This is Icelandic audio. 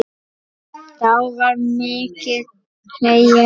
Þá var mikið hlegið.